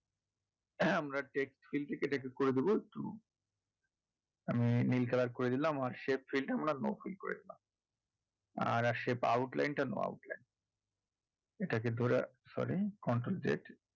হ্যাঁ আমরা থেকে এটাকে করে দেবো একটু উম নীল color করে দিলাম আর field কে আমরা no field করে দিলাম আর আসে line টা line